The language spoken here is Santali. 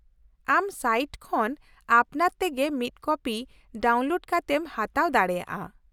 -ᱟᱢ ᱥᱟᱭᱤᱴ ᱠᱷᱚᱱ ᱟᱯᱱᱟᱨ ᱛᱮᱜᱮ ᱢᱤᱫ ᱠᱚᱯᱤ ᱰᱟᱣᱩᱱᱞᱳᱰ ᱠᱟᱛᱮᱢ ᱦᱟᱛᱟᱣ ᱫᱟᱲᱮᱭᱟᱜᱼᱟ ᱾